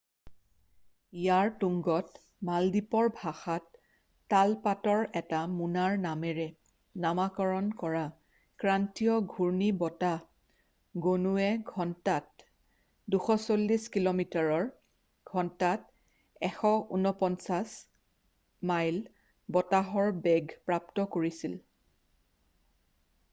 ইয়াৰ তুংগত মালদ্বীপৰ ভাষাত তাল পাতৰ এটা মোনাৰ নামেৰে নামাকৰণ কৰা ক্ৰান্তীয় ঘূৰ্ণী বতাহ গণুৱে ঘন্টাত 240 কিল’মিটাৰৰঘন্টাত 149 মাইল বতাহৰ বেগ প্ৰাপ্ত কৰিছিল।